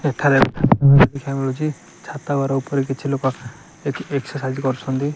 ଏଠାରେ ଦେଖିବାକୁ ମିଳୁଚି ଛାତ ଘର ଉପରେ କିଛି ଲୋକ ଏକ ଏକ୍ସରସାଇଜ୍ କରୁଛନ୍ତି।